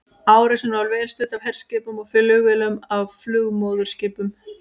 Árásin var vel studd af herskipum og flugvélum af flugmóðurskipum.